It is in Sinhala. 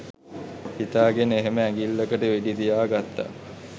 හිතාගෙන එහෙම ඇඟිල්ලකට වෙඩිතියා ගත්ත